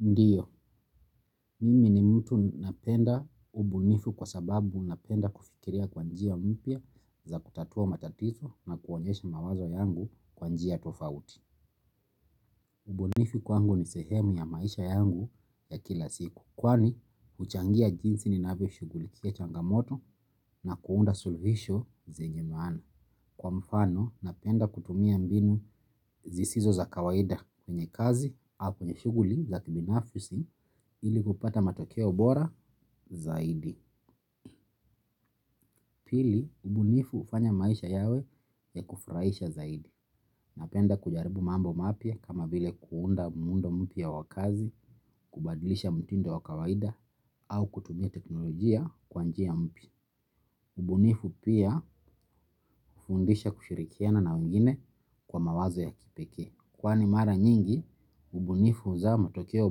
Ndiyo, mimi ni mtu napenda ubunifu kwa sababu napenda kufikiria kwanjia mpya za kutatua matatizo na kuonyesha mawazo yangu kwa njia tofauti. Ubunifu kwangu ni sehemu ya maisha yangu ya kila siku, kwani huchangia jinsi ninavyoshugulikia changamoto na kuunda suluhisho zenye maana. Kwa mfano, napenda kutumia mbinu zisizo za kawaida kwenye kazi au kwenye shughuli za kibinafisi ili kupata matokeo bora zaidi. Pili, ubunifu hufanya maisha yawe ya kufurahisha zaidi. Napenda kujaribu mambo mapya kama vile kuunda muundo mpya wa kazi, kubadilisha mtindo wa kawaida au kutumia teknolojia kwa njia mpia. Ubunifu pia hufundisha kushirikiana na wengine kwa mawazo ya kipeke. Kwani mara nyingi, ubunifu huzaa matokeo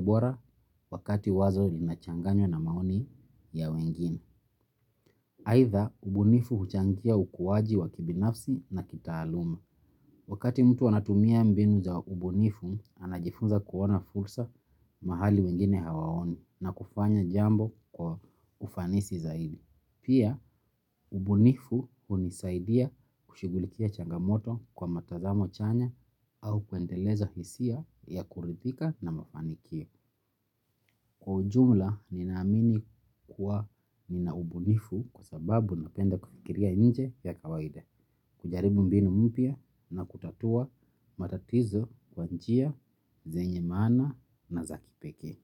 bora wakati wazo linachanganywa na maoni ya wengine. Aidha, ubunifu huchangia ukuwaji wa kibinafsi na kitaaluma. Wakati mtu anatumia mbinu za ubunifu, anajifunza kuona fursa mahali wengine hawaoni na kufanya jambo kwa ufanisi zaidi. Pia, ubunifu hunisaidia kushughulikia changamoto kwa mtazamo chanya au kuendeleza hisia ya kuridhika na mafanikio. Kwa ujumla, ninaamini kuwa nina ubunifu kwa sababu napenda kufikiria nje ya kawaida. Kujaribu mbinu mpya na kutatua matatizo kwa njia, zenye maana na za kipekee.